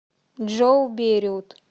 джой бейрут